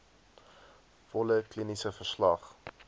volle kliniese verslag